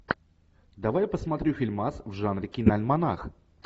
давай посмотрю фильмас в жанре киноальманах